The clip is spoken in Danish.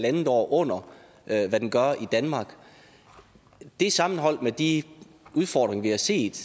en halv år under hvad hvad den gør i danmark det sammenholdt med de udfordringer vi har set